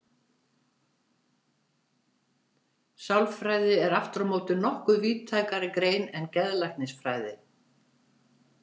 Sálfræði er aftur á móti nokkuð víðtækari grein en geðlæknisfræði.